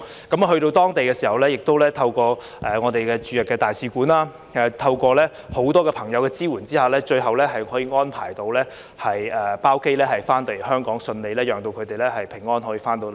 到達當地時，亦透過我們的駐日大使館，以及在很多朋友的支援下，最後可以安排包機返回香港，順利讓他們平安回來。